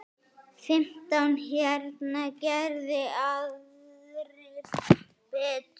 Fimmtán hérna, geri aðrir betur!